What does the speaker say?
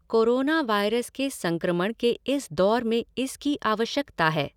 Corona virus के संक्रमण के इस दौर में इसकी आवश्यकता है।